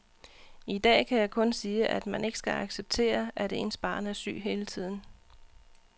I dag kan jeg kun sige, at man ikke skal acceptere, at ens barn er syg hele tiden.